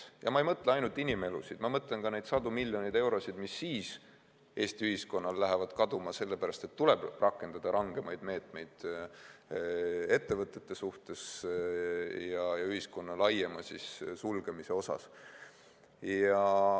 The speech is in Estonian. Ja ma ei mõtle ainult inimelusid, ma mõtlen ka neid sadu miljoneid eurosid, mis siis Eesti ühiskonnal kaduma lähevad, sellepärast et tuleb rakendada rangemaid meetmeid ettevõtete suhtes ja ühiskonna laiemaks sulgemiseks.